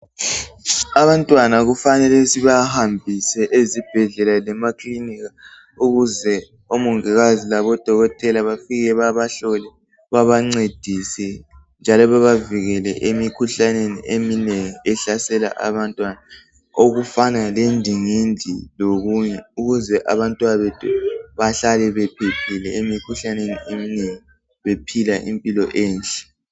Abantwana kufanele sibahambise ezibhedlela lemakilinika. Ukuze omongikazi labodokotela bafike babahlole. Babancedise, njalo babavikele emikhuhlaneni eminengi. Ehlasela abantwana, okufana lendingindi lokunye. Ukuze abantwabethu bahlale bephephile emikhuhlaneni eminengi, bephila impilo enhle.